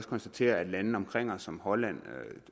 konstatere at lande omkring os som holland